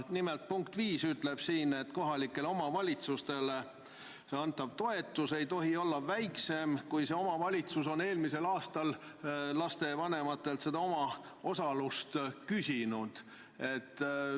Nimelt, punkt 5 ütleb siin, et kohalikele omavalitsustele antav toetus ei tohi olla väiksem, kui see omavalitsus on eelmisel aastal lastevanematelt omaosalust küsinud.